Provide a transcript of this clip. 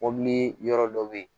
yɔrɔ dɔ be yen